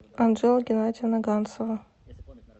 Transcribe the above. анжела геннадьевна ганцева